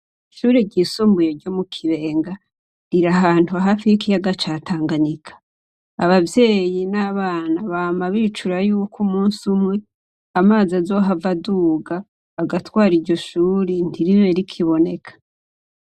Ishure ryisumbuye ryo mu Kibenga riri ahantu hafi yikiga ca Tanganyika abavyeyi n'abana bama bicura yuko umunsi umwe amazi azohava aduga agatwara iryo shure ntiribe rikiboneka.